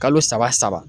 Kalo saba saba